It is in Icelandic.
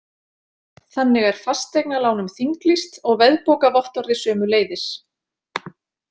Þannig er fasteignalánum þinglýst og veðbókarvottorði sömuleiðis.